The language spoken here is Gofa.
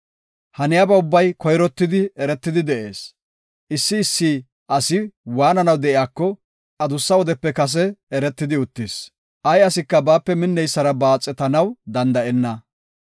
Haniyaba ubbay koyrottidi eretidi de7ees. Issi issi asi waananaw de7iyako adussa wodepe kase eretidi uttis. Ay asika baape minneysara baaxetanaw danda7enna.